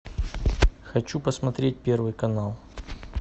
хочу посмотреть первый канал